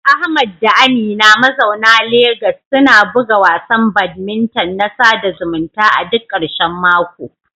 Ahmad da Amina mazauna Legas suna buga wasan badminton na sada zumunta a duk ƙarshen mako.